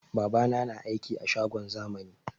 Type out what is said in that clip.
Babana na aiki a shagon zamani